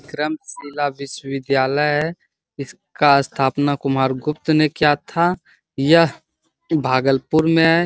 विक्रमशिला विश्वविद्यालय इसका स्थापना कुमार गुप्त ने किया था | यह भागलपुर में है |